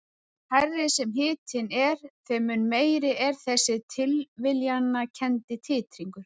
Því hærri sem hitinn er þeim mun meiri er þessi tilviljanakenndi titringur.